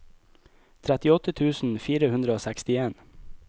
trettiåtte tusen fire hundre og sekstien